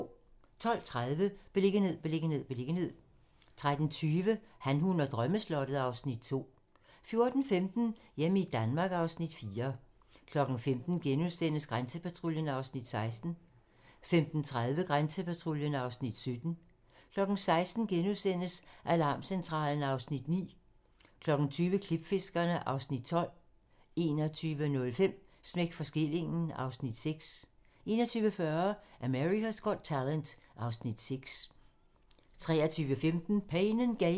12:30: Beliggenhed, beliggenhed, beliggenhed 13:20: Han, hun og drømmeslottet (Afs. 2) 14:15: Hjemme i Danmark (Afs. 4) 15:00: Grænsepatruljen (Afs. 16)* 15:30: Grænsepatruljen (Afs. 17)* 16:00: Alarmcentralen (Afs. 9)* 20:00: Klipfiskerne (Afs. 12) 21:05: Smæk for skillingen (Afs. 6) 21:40: America's Got Talent (Afs. 6) 23:15: Pain & Gain